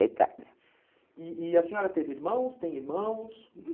E e a senhora teve irmãos, tem irmãos?